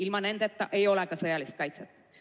Ilma nendeta ei ole ka sõjalist kaitset.